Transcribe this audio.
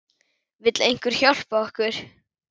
Vill einhver hjálpa okkur?